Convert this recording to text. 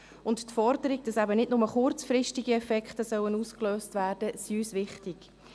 Auch die Forderung, dass eben nicht nur kurzfristige Effekte ausgelöst werden sollen, ist uns wichtig.